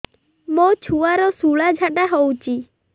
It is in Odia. ମୋ ଛୁଆର ସୁଳା ଝାଡ଼ା ହଉଚି